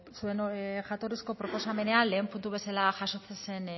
bueno zuen jatorrizko proposamenean lehen puntu bezala jasotzen zen